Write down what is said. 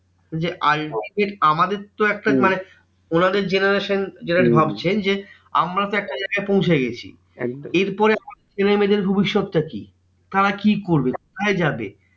যে ultimate আমাদের তো একটা ওনাদের generation যেটা ভাবছেন যে আমরা তো একটা জায়গায় পৌঁছে গেছি। এরপরে ছেলেমেয়েদের ভবিষ্যত টা কি? তারা কি করবে? কোথায় যাবে?